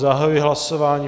Zahajuji hlasování.